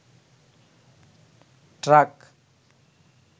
truck